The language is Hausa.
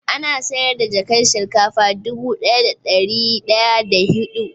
Ana sayar da jakan shinkafa dubu daya da dari daya da hidu